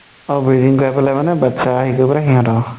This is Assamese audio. অ breeding কৰি পালে মানে বাচ্ছা হেৰি কৰি পালে সিহঁতক